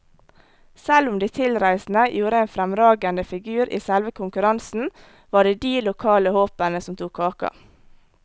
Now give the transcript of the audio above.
Selv om de tilreisende gjorde en fremragende figur i selve konkurransen, var det de lokale håpene som tok kaka.